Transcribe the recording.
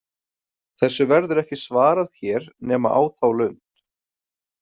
Þessu verður ekki svarað hér nema á þá lund.